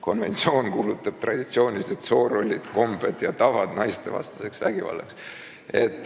Konventsioon kuulutab traditsioonilised soorollid, kombed ja tavad naistevastaseks vägivallaks".